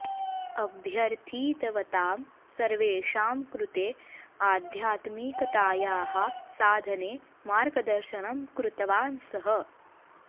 अभ्यर्थितवतां सर्वेषां कृते आध्यात्मिकतायाः साधने मार्गदर्शनं कृतवान् सः